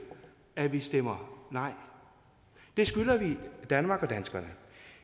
at vi stemmer nej det skylder vi danmark og danskerne